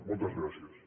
moltes gràcies